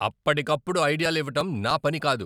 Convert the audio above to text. అప్పటికప్పుడు ఐడియాలు ఇవ్వటం నా పని కాదు.